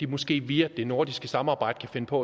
måske via det nordiske samarbejde kan finde på